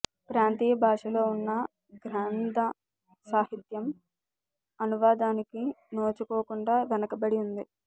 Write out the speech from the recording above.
ప్రాంతీయ భాషలో ఉన్న గ్రంథ సాహిత్యం అనువాదానికి నోచుకోకుండా వెనకబడి ఉంది